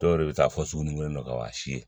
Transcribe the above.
Dɔw yɛrɛ bɛ taa fɔ sugunikɛn dɔ k'a si ye